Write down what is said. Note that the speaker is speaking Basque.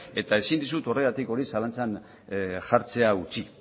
eta ezin dizut horregatik zalantzan jartzea utzi